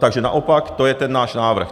Takže naopak, to je ten náš návrh.